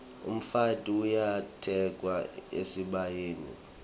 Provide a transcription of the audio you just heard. umfati uyatekwa esibayeni